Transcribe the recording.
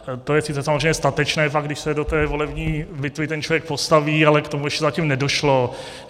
To je sice samozřejmě statečné, pak když se do té volební bitvy ten člověk postaví, ale k tomu ještě zatím nedošlo.